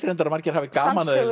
að margir hafa gaman af að